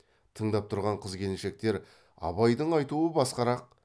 тыңдап тұрған қыз келіншектер абайдың айтуы басқарақ